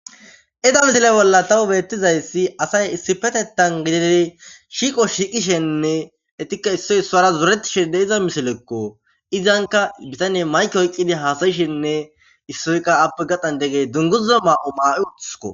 iza misile bolla tawu beettizayssi asay issipetetan gididei shiiqo shiiqishenne etikka issoy issoara zoretishede iza misilekko izanka bitane mayke oyqqidi haasayishenne issoyka appe gadhan deggey dunguza maa7o maa7i wotusuko